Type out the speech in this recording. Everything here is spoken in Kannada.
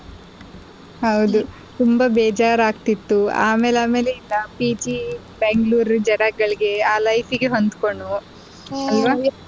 ಹೌದು ತುಂಬಾ ಬೇಜಾರ್ ಆಗತಿತ್ತು ಅಮೇಲ್ ಅಮೇಲಿಂದ PG Bangalore ಜನಗಳಿಗೆ ಆ life ಗೆ ಹೊಡ್ಕೊಂಡ್ವ್ ಅಲ್ವಾ.